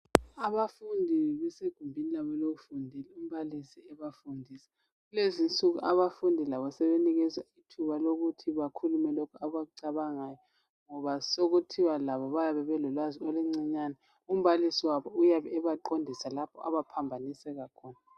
Abafundi besegumbini labo lokufundela umbalisi ebafundisa kulezinsuku abafundi labo sebenikwa ithuba lokuthi bakhulume lokhu abakucabangayo ngoba sokuthiwa labo bayabe belolwazi oluncinyane umbalisi wabo uyabe ebaqondisa lapho abaphambanisa khona.